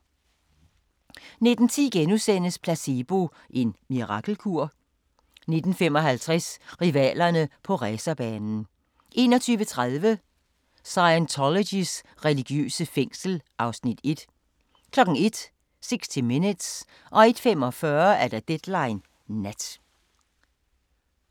19:10: Placebo – en mirakelkur? * 19:55: Rivalerne på racerbanen 21:30: Scientologys religiøse fængsel (Afs. 1) 01:00: 60 Minutes 01:45: Deadline Nat